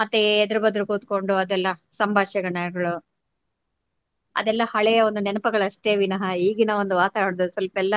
ಮತ್ತೆ ಎದುರು ಬದುರು ಕುತ್ಕೊಂಡು ಅದೆಲ್ಲಾ ಸಂಭಾಷಣೆ ಹೇಳೋದು ಅದೆಲ್ಲಾ ಹಳೆಯ ಒಂದು ನೆನಪುಗಳು ಅಷ್ಟೇ ವಿನಃ ಈಗಿನ ಒಂದು ವಾತಾವರಣದಲ್ಲಿ ಸ್ವಲ್ಪ ಎಲ್ಲ